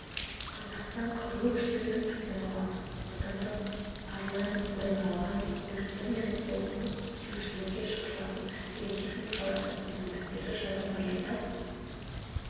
қазақстан қарулы күштерінің арсеналы отандық арлан брондалған көліктерімен толықты келушілерге шығарылатын әскери техникалардың мүмкіндіктері жайлы баяндап